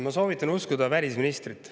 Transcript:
Ma soovitan uskuda välisministrit.